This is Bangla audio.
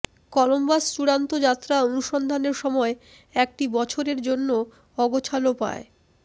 কলম্বাস চূড়ান্ত যাত্রা অনুসন্ধানের সময় একটি বছরের জন্য অগোছাল পায়